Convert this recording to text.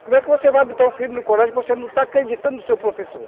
Como é que você vai botar um filho no colégio que você não está acreditando no seu professor?